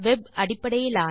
web அடிப்படையிலான